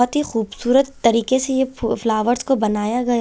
बहोत ही खूबसूरत तरीके से यह फू फ्लावर्स को बनाया गया--